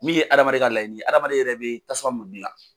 Min ye hadamaden ka layini ye hadamaden yɛrɛ bɛ tasuma mun gilan.